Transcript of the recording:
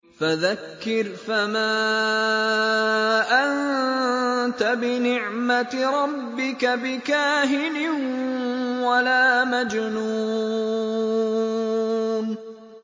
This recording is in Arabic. فَذَكِّرْ فَمَا أَنتَ بِنِعْمَتِ رَبِّكَ بِكَاهِنٍ وَلَا مَجْنُونٍ